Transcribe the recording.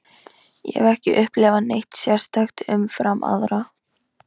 Ég hef ekki upplifað neitt sérstakt umfram aðra.